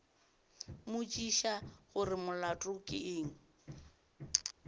mmotšiša gore molato ke eng